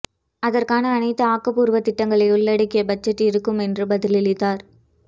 அதற்கான அனைத்து ஆக்கப்பூர்வ திட்டங்களை உள்ளடக்கிய பட்ஜெட் இருக்கும் என்று பதிலளித்தார்